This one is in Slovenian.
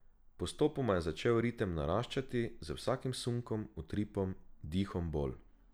Postopoma je začel ritem naraščati, z vsakim sunkom, utripom, dihom bolj.